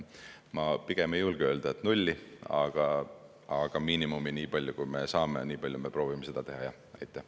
Ma pigem ei julge öelda, et nulli, aga miinimumini – nii palju, kui me saame, nii palju me proovime seda teha, jah.